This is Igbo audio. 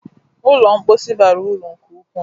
Ụlọ mposi bara uru nke ukwu.